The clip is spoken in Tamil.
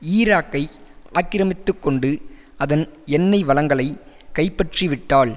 ஈராக்கை ஆக்கிரமித்து கொண்டு அதன் எண்ணெய் வளங்களை கைப்பற்றி விட்டால்